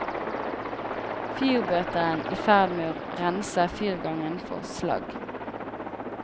Fyrbøteren i ferd med å rense fyrgangen for slagg.